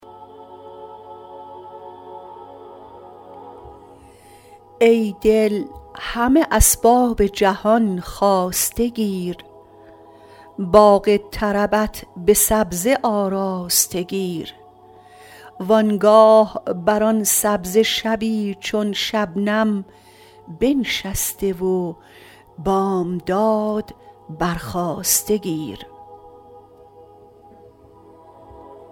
ای دل همه اسباب جهان خواسته گیر باغ طربت به سبزه آراسته گیر و آنگاه بر آن سبزه شبی چون شبنم بنشسته و بامداد برخاسته گیر